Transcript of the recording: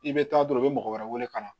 I bɛ taa dɔrɔn i bɛ mɔgɔ wɛrɛ wele ka na